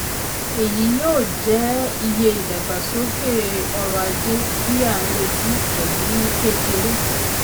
èyí yóò jẹ́ iye ìdàgbàsókè ọrọ̀-ajé tí à ń retí pẹ̀lú kékeré.